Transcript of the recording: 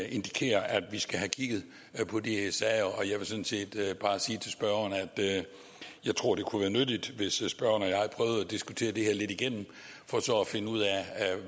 indikerer at vi skal have kigget på de sager jeg vil sådan set bare sige til spørgeren at jeg tror det kunne være nyttigt hvis spørgeren at diskutere det her lidt igennem for at finde ud af